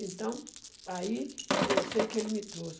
Então, aí, eu sei que ele me trouxe.